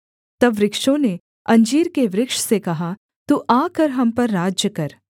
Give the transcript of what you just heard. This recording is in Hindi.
तब वृक्षों ने अंजीर के वृक्ष से कहा तू आकर हम पर राज्य कर